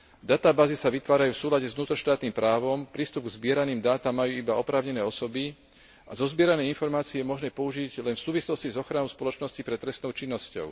Databázy sa vytvárajú v súlade s vnútroštátnym právom, prístup k zbieraným dátam majú iba oprávnené osoby a zozbierané informácie je možné použiť len v súvislosti s ochranou spoločnosti pred trestnou činnosťou.